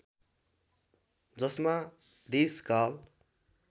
जसमा देश काल